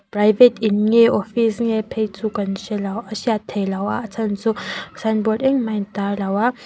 private in nge office nge phei chu kan hrelo a hriat theihloh a a chhan chu signboard engmah a in tar lo a.